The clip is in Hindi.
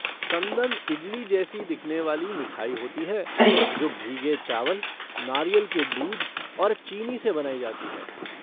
संदन इडली जैसी दिखने वाली मिठाई होती है जो भीगे चावल, नारियल के दूध और चीनी से बनाई जाती है।